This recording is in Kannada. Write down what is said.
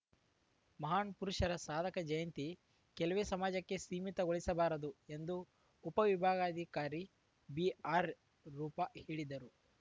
ಮಹಾನ್‌ ಪುರುಷರ ಸಾಧಕ ಜಯಂತಿ ಕೆಲವೇ ಸಮಾಜಕ್ಕೆ ಸೀಮಿತಗೊಳಿಸಬಾರದು ಎಂದು ಉಪವಿಭಾಗಾಧಿಕಾರಿ ಬಿಆರ್‌ ರೂಪಾ ಹೇಳಿದರು